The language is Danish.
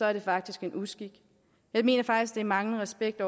er det faktisk en uskik jeg mener faktisk det er manglende respekt